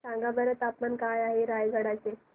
सांगा बरं तापमान काय आहे रायगडा चे